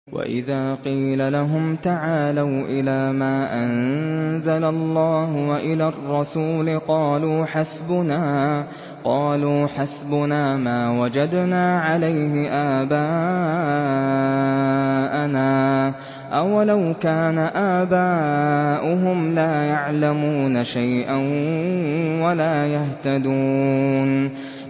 وَإِذَا قِيلَ لَهُمْ تَعَالَوْا إِلَىٰ مَا أَنزَلَ اللَّهُ وَإِلَى الرَّسُولِ قَالُوا حَسْبُنَا مَا وَجَدْنَا عَلَيْهِ آبَاءَنَا ۚ أَوَلَوْ كَانَ آبَاؤُهُمْ لَا يَعْلَمُونَ شَيْئًا وَلَا يَهْتَدُونَ